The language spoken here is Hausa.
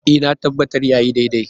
E, na tabbata ya yi daidai.